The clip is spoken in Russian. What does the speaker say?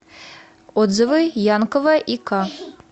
отзывы янковая и к